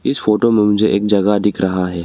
इस फोटो में मुझे एक जगह दिख रहा है।